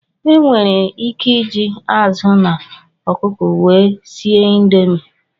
Ị nwere ike iji azụ na ọkụkọ wee sie indomi.